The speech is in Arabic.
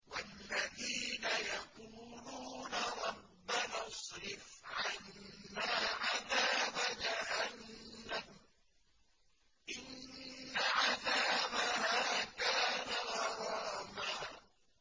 وَالَّذِينَ يَقُولُونَ رَبَّنَا اصْرِفْ عَنَّا عَذَابَ جَهَنَّمَ ۖ إِنَّ عَذَابَهَا كَانَ غَرَامًا